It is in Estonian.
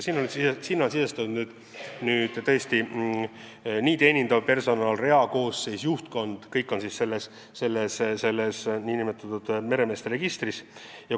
Sinna on sisestatud teenindav personal, reakoosseis, juhtkond – kõik, kes on selles nn meremeeste registris.